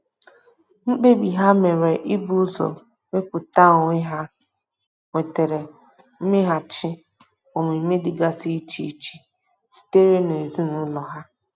Mkpebi ha mere ibu ụzọ wepụta onwe ha nwetara mmeghachi omume dịgasi iche iche sitere n'ezinụlọ ha.